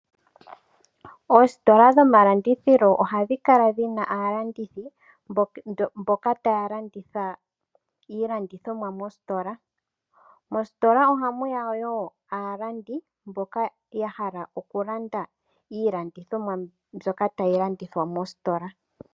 Oositola dhomalandithilo oha dhi kala dhi na aalandithi mboka taya landitha iilandithomwa mositola. Mositola oha mu ya wo aalandi mboka ya hala okulanda iilandithomwa mbyoka tayi landithwa mositola.